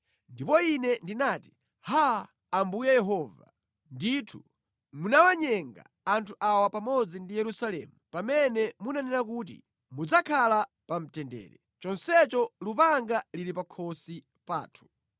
Ndipo ine ndinati, “Haa, Ambuye Yehova, ndithu munawanyenga anthu awa pamodzi ndi Yerusalemu pamene munanena kuti, ‘Mudzakhala pa mtendere,’ chonsecho lupanga lili pakhosi pathu.”